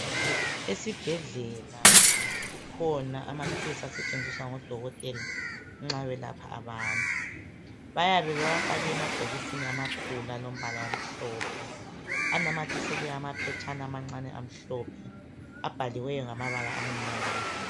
Esibhedlela kukhona amathulusi asetshenziswa ngodokotela nxa belapha abantu. Bayabe bewafake emabhokisini amakhulu alombala omhlophe anamathiselwe amaphetshana amancane amhlophe abhaliweyo ngamabala amnyama